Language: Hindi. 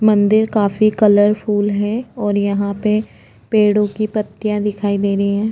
मंदिर काफी कलरफुल है और यहाँ पे पेड़ों की पत्तियां दिखाई दे रही है।